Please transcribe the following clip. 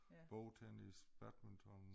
Bordtennis badminton